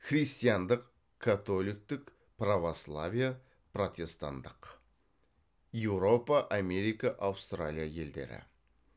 христиандық католиктік православие протестанттық